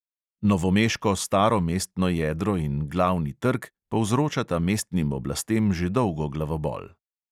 Novomeško staro mestno jedro in glavni trg povzročata mestnim oblastem že dolgo glavobol.